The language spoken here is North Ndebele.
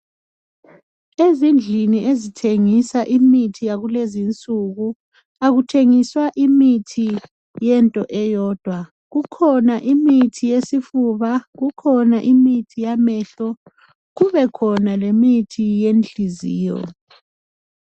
Ezindlini ezithengisa imithi yakulezinsuku akuthengiswa imithi yento eyodwa, kukhona imithi yesifuba, kukhona imithi yamehlo kubekhona lemithi yenhliziyo.